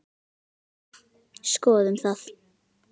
Skoðum það.